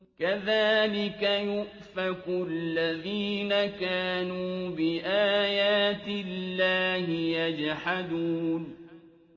كَذَٰلِكَ يُؤْفَكُ الَّذِينَ كَانُوا بِآيَاتِ اللَّهِ يَجْحَدُونَ